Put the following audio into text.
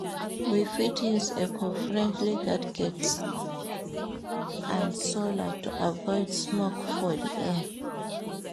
We fit use eco-friendly gadgetd and solar to avoid smoke for the air